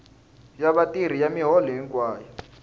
ya vatirhi ya miholo hinkwayo